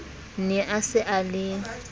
ne a se a le